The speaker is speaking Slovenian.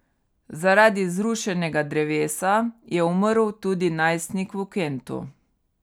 Zaradi zrušenega drevesa je umrl tudi najstnik v Kentu.